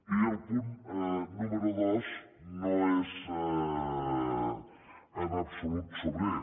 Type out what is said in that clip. i el punt número dos no és en absolut sobrer